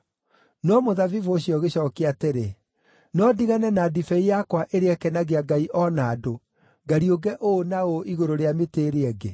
“No mũthabibũ ũcio ũgĩcookia atĩrĩ, ‘No ndigane na ndibei yakwa ĩrĩa ĩkenagia ngai o na andũ, ngariũnge ũũ na ũũ igũrũ rĩa mĩtĩ ĩrĩa ĩngĩ?’